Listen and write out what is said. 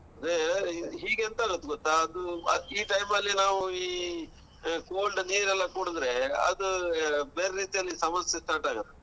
ಅದೇ ಈಗ ಎಂತ ಆಗತ್ತೆ ಗೊತ್ತಾ? ಅದು ಈ time ಅಲ್ಲಿ ನಾವು ಈ cold ನೀರೆಲ್ಲ ಕುಡ್ದ್ರೆ ಅದ್ ಬೇರೆ ರೀತಿಯಲ್ಲಿ ಸಮಸ್ಸೆ start ಆಗತ್ತೆ.